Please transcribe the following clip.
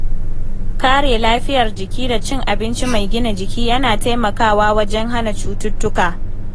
Kare lafiyar jiki da cin abinci mai gina jiki yana taimakawa wajen hana cututtuka.